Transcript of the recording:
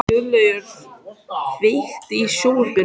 Guðlaugur, kveiktu á sjónvarpinu.